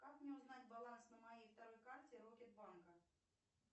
как мне узнать баланс на моей второй карте рокет банка